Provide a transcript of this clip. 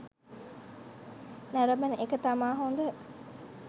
නරඹන එක තමා හොඳ